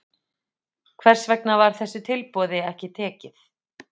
Hvers vegna var þessu tilboði ekki tekið?